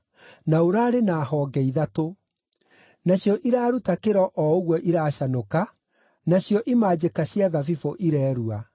na ũraarĩ na honge ithatũ. Nacio iraaruta kĩro o ũguo iracanũka, nacio imanjĩka cia thabibũ irerua.